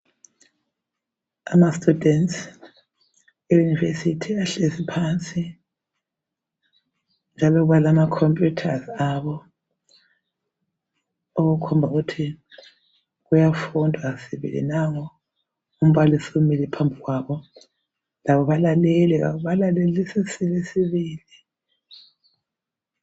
Amastudents e university ahkezi phansi njalo balama computers abo okukhomba ukuthi kuyafundwa sibili nangu umbalisi umile phambi kwabo labo balalele balalelisile